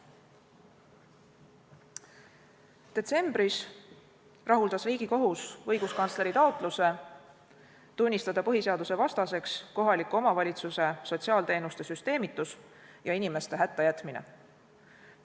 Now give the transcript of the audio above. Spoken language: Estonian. Detsembris rahuldas Riigikohus õiguskantsleri taotluse tunnistada põhiseadusvastaseks kohaliku omavalitsuse sotsiaalteenuste süsteemitus ja inimeste hättajätmine.